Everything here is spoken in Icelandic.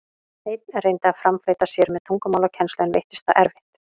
Einn reyndi að framfleyta sér með tungumálakennslu, en veittist það erfitt.